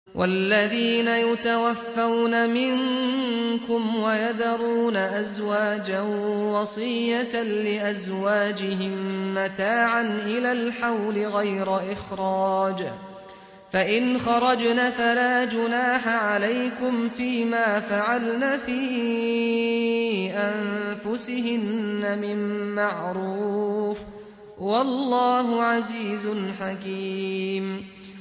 وَالَّذِينَ يُتَوَفَّوْنَ مِنكُمْ وَيَذَرُونَ أَزْوَاجًا وَصِيَّةً لِّأَزْوَاجِهِم مَّتَاعًا إِلَى الْحَوْلِ غَيْرَ إِخْرَاجٍ ۚ فَإِنْ خَرَجْنَ فَلَا جُنَاحَ عَلَيْكُمْ فِي مَا فَعَلْنَ فِي أَنفُسِهِنَّ مِن مَّعْرُوفٍ ۗ وَاللَّهُ عَزِيزٌ حَكِيمٌ